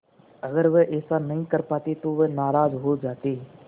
अगर वह ऐसा नहीं कर पाते तो वह नाराज़ हो जाते